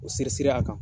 O siri siri a kan